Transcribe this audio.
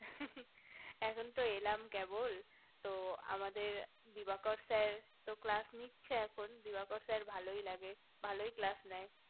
হু হু এখন তো এলাম কেবল তো আমাদের দিবাকর sir তো নিচ্ছে এখন দিবাকর sir ভালোই লাগে ভালোই class নেই